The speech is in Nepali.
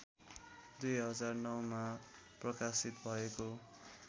२००९मा प्रकाशित भएको